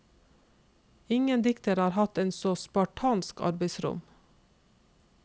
Ingen dikter har hatt et så spartansk arbeidsrom.